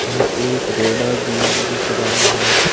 यह एक रेडा भी दिख रहा है।